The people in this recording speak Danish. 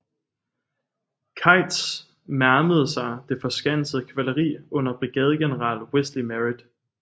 Keitts mærmede sig det forskansede kavaleri under brigadegeneral Wesley Merritt